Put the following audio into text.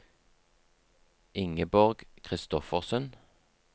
Ingeborg Kristoffersen